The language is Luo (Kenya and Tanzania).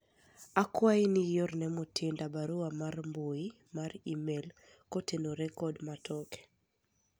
akwayi ni iorne Mutinda barua mar mbui mar email kotenore kod matoke